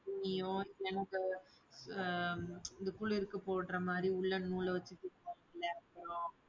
துணியோ ஆஹ் இது குளிருக்கு போடுற மாதிரி woolen நூல் வச்சி தைப்போமில்லயா